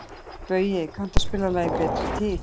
Baui, kanntu að spila lagið „Betri tíð“?